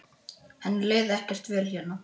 Henni leið ekkert vel hérna.